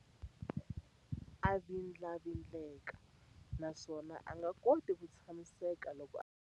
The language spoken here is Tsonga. A vindlavindleka naswona a nga koti ku tshamiseka loko a ha rindzerile mahungu.